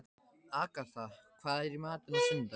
Agatha, hvað er í matinn á sunnudaginn?